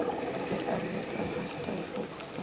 Er erfitt að hætta í fótbolta?